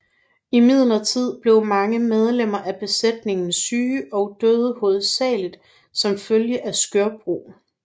Imidlertid blev mange medlemmer af besætningen syge og døde hovedsagelig som følge af skørbug